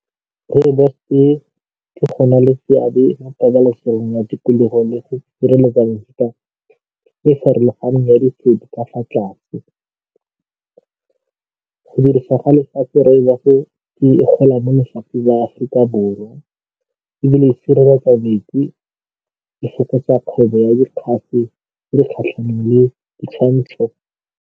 Rooibos-e, ke go na le seabe mo pabalegong ya tikologo le go e farologaneng ya ka fa tlase. Go dirisa ga lefatshe Rooibos-e la Afrika Borwa ebile e sireletsa e fokotsa kgwebo ya tse di kgatlhanong le ditshwantsho.